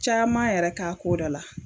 Caman yɛrɛ k'a ko da la.